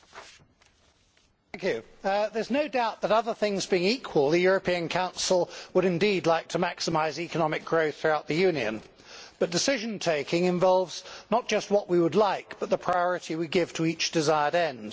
Madam President, there is no doubt that, other things being equal, the European Council would indeed like to maximise economic growth throughout the Union, but decision taking involves not just what we would like, but the priority we give to each desired end.